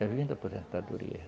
Já vindo de aposentadoria.